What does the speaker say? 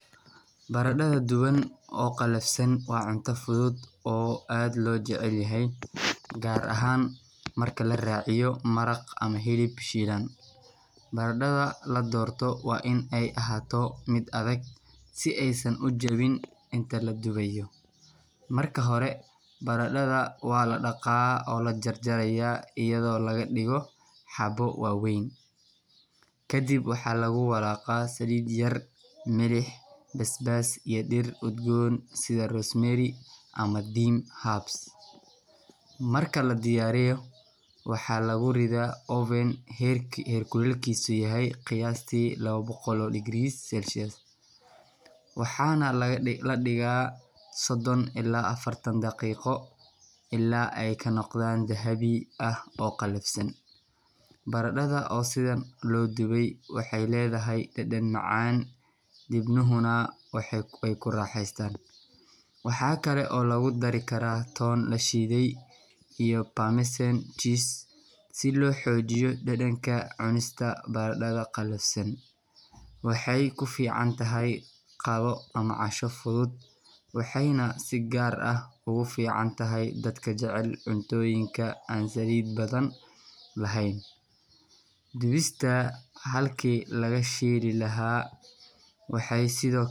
Baradho duban oo qallafsan waa cunto fudud oo aad loo jecel yahay, gaar ahaan marka la raaciyo maraq ama hilib shiilan. Baradhada la doorto waa in ay ahaato mid adag, si aysan u jabin inta la dubayo. Marka hore, baradhada waa la dhaqaa oo la jar-jarayaa iyadoo laga dhigo xabbo waaweyn. Kadib waxaa lagu walaaqaa saliid yar, milix, basbaas iyo dhir udgoon sida rosemary ama thyme herbs. Marka la diyaariyo, waxaa lagu ridaa oven heerkulkiisu yahay qiyaastii 200°C, waxaana la dhigaa 30 ilaa 40 daqiiqo, ilaa ay ka noqdaan dahabi ah oo qallafsan. Baradhada oo sidan loo dubay waxay leedahay dhadhan macaan, dibnuhuna way ku raaxaystaan. Waxa kale oo lagu dari karaa toon la shiiday iyo parmesan cheese si loo xoojiyo dhadhanka. Cunista baradho qallafsan waxay ku fiican tahay qado ama casho fudud, waxayna si gaar ah ugu fiican tahay dadka jecel cuntooyinka aan saliid badan lahayn. Dubista halkii laga shiili lahaa waxay sidoo.